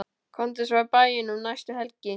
Komdu svo í bæinn um næstu helgi.